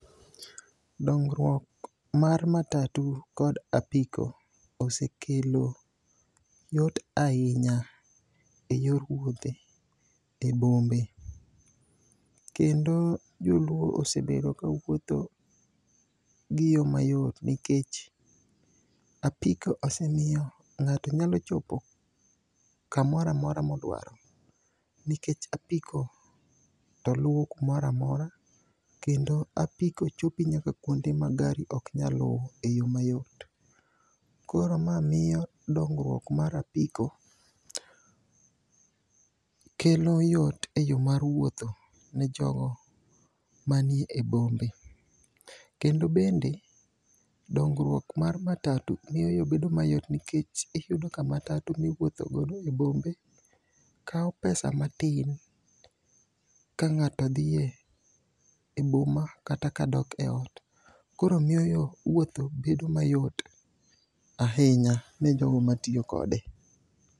Dongruok mar matatu kod apiko osekelo yot ahinya e yor wuothe e e bombe. Kendo joluo osebedo kawuotho gi yo mayot nikech apiko osemiyo ng'ato nyalo chopo kamora mora modwaro nikech apiko to luwo kumora mora ,kendo apiko chopi nyaka kwonde ma gari ok nyal luwo e yo mayot. Koro ma miyo dongruok mar apiko kelo yot e yo mar wuotho ne jogo mani e bombe. Kendo bende, dongruok mar matatu miyo yo bedo mayot nikech iyudo ka matatu miwuothogo e bombe kawo pesa matin ka ng'ato dhi e boma kata ka do e ot. Koro miyo wuotho bedo mayot ahinya ne jogo matiyo kode.